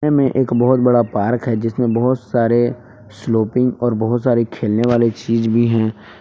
मे एक बहोत बड़ा पार्क है जिसमें बहुत सारे स्लोपिंग और बहुत सारे खेलने वाली चीज भी है।